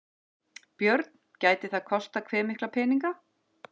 Björn: Gæti það kostað hve mikla peninga?